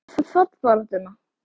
Hvað með fallbaráttuna?